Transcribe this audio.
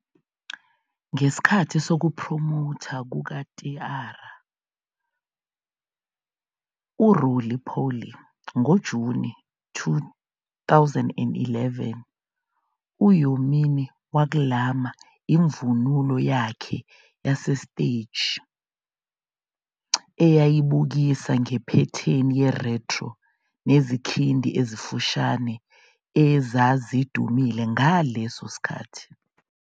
Ngesikhathi sokuphromotha kuka-T-ara " Roly-Poly " ngoJuni 2011, u-Hyomin waklama imvunulo yakhe yasesiteji, eyayibukisa ngephethini ye-retro nezikhindi ezifushane ezazidumile ngaleso sikhathi.